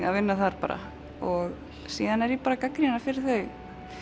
að vinna þar bara síðan er ég bara að gagnrýna fyrir þau